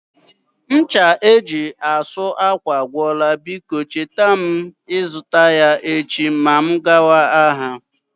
Ncha eji asụ ákwà agwụla, biko chetara m ịzụta ya echi ma m gaba ahịa